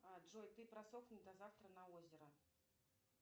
джой ты просохни до завтра на озеро